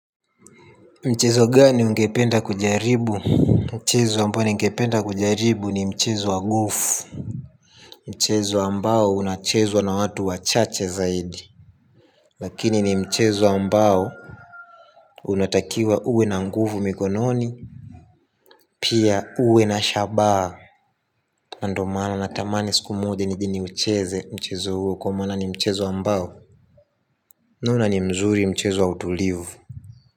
Mchezo gani ungependa kujaribu. Mchezo ambao unachezwa na watu wachache zaidi lakini ni mchezo ambao unatakiwa uwe na nguvu mikononi. Pia uwe na shabaha. Na ndio maana natamani siku moja nije ni ucheze mchezo huo kwa maana ni mchezo ambao naona ni mzuri, mchezo wa utulivu.